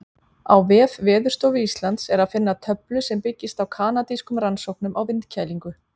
Á vef Veðurstofu Íslands er að finna töflu sem byggist á kanadískum rannsóknum á vindkælingu.